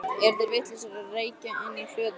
Eru þeir vitlausir að reykja inni í hlöðu? sagði Kata.